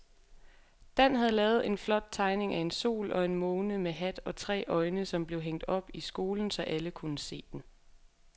Dan havde lavet en flot tegning af en sol og en måne med hat og tre øjne, som blev hængt op i skolen, så alle kunne se den.